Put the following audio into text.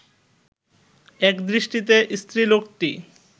একদৃষ্টিতে স্ত্রীলোকটি